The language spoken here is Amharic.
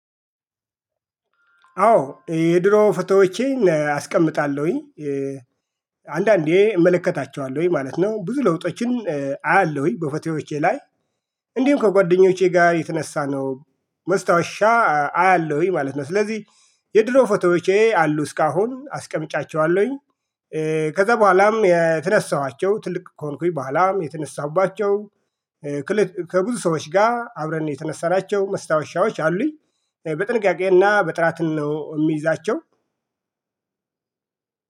አዎ የድሮ ፎቶዎቼን አስቀምጣለሁኝ አንዳንዴ እመለከታቸዋለሁኝ ማለት ነው ብዙ ለውጦችን አያለሁኝ በፎቶዎቼ ላይ። እንዲሁም ከጓደኞቼ ጋር የተነሳነው ማስታወሻ አያለሁኝ ማለት ነው። ስለዚህ የድሮ ፎቶዎቼ አሉ እስካሁን አስቀምጫቸዋለሁኝ። ከዛ በኋላም የተነሳኋቸው ትልቅ ከሆንኩኝ በኋላም የተነሳሁባቸው። ከብዙ ሰዎች ጋር አብረን የተነሳናቸው ማስታወሻዎች አሉኝ። በጥንቃቄና በጥራት ነው የምይዛቸው።